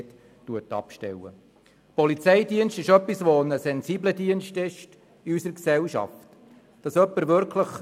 Der Polizeidienst gilt in unserer Gesellschaft als sehr sensibel.